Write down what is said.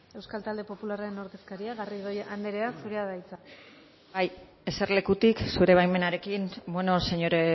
euskal talde popularraren ordezkaria garrido anderea zurea da hitza bai eserlekutik zure baimenarekin señor